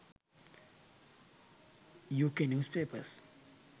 uk newspapers